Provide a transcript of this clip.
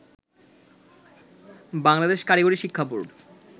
বাংলাদেশ কারিগরি শিক্ষা বোর্ড